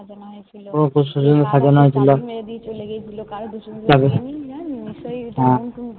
ও ফুল সজ্জার খাট তা বানিয়েছিল কে লাঠি মেরে চলে গিয়েছিলো